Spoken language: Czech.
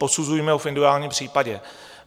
Posuzujme to v individuálním případě.